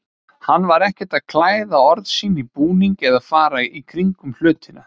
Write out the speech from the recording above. Hann var ekkert að klæða orð sín í búning eða fara í kringum hlutina.